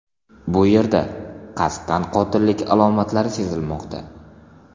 Bu yerda qasddan qotillik alomatlari sezilmoqda.